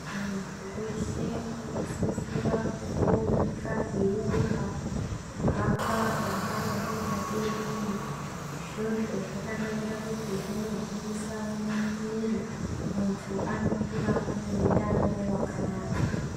Munhu weshe unosisira kumbomuka eyirumba, kuhamba mangwanani, madekoni. Izvozvo zvakanakira kuti zvinogwinyisa muiri. Muntu anokura ane utano hwakanaka.